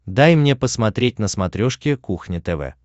дай мне посмотреть на смотрешке кухня тв